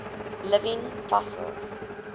living fossils